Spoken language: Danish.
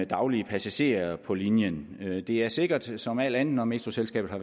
daglige passagerer på linjen det er sikkert som alt andet når metroselskabet har